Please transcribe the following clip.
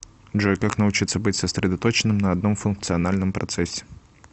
джой как научиться быть сосредоточенным на одном функциональном процессе